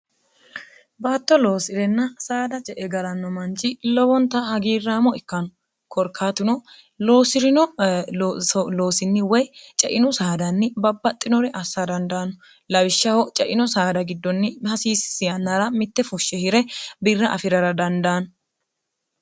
baatto loosi'renna saada je e galanno manchi lowonta hagiirraamo ikkanu korkaatuno osi'rino loosinni woy cainu saadanni babbaxxinore assa dandaanno lawishshaho caino saada giddonni hasiissinra mitte fushshe hire birra afirara dandaanno